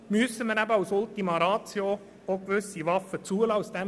Deshalb müssen wir als Ultima Ratio gewisse Waffen zulassen.